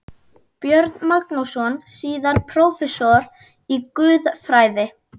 Björn Magnússon, síðar prófessor í guðfræði.